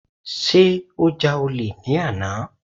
Sé ó ja olè ní àná.